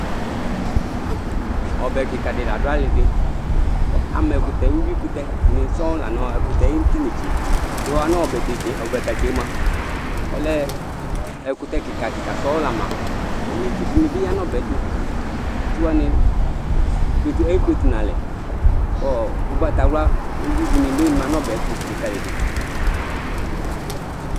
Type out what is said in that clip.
Ɔbɛ kika di ladu alidi ama ɛkutɛ uyuikutɛ ni sɔŋ lanu ɛkutɛ nu tu inetse yɔɣa nu ɔbɛtatse mua ɔlɛ ɛkutɛ kika kika sɔŋ lama uyuitsu dini bi ya nu ɔbɛ yɛ tu itsu wani ekpletu nu alɛ ku ugbatawla uyui dini bi ma nu ɔbɛ yɛ ɛtu likalidu